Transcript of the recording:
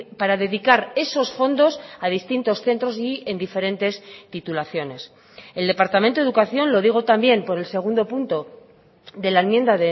para dedicar esos fondos a distintos centros y en diferentes titulaciones el departamento de educación lo digo también por el segundo punto de la enmienda